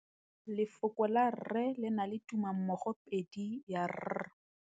Lefoko la rre le na le tumammogôpedi ya, r.